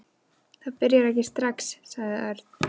Það byrjar ekki strax, sagði Örn.